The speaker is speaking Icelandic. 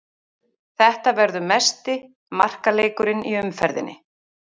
Þetta verður mesti markaleikurinn í umferðinni.